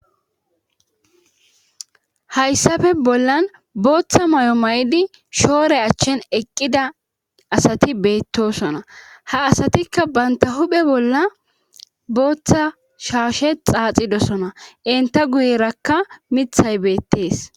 Hayssappe bollan booththa may7o may7di shoore achchen eqqida asati beettosona ha asatikka banta huphe bolla booththa shaashe xaaxidosona inta guyerakka mithay beettees.